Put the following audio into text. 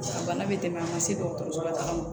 A bana bɛ tɛmɛ a ma se dɔgɔtɔrɔso la